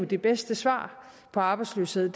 det bedste svar på arbejdsløshed jo